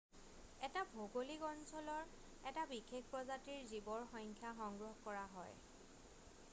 এটা ভৌগোলিক অঞ্চলৰ এটা বিশেষ প্ৰজাতিৰ জীৱৰ সংখ্যা সংগ্ৰহ কৰা হয়